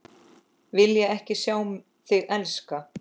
Vilja ekki sjá þig elska.